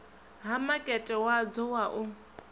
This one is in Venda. ha makete wadzo wa u